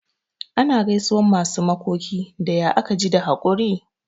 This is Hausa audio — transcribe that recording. Ana gaisuwan masu makoki da "ya aka ji da hakuri'?